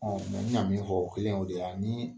n y'a min fɔ, o kelen y'o ye de yani